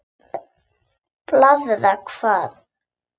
Blaðra hvað?